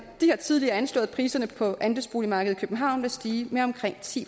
de har tidligere anslået at priserne på andelsboligmarkedet i københavn vil stige med omkring ti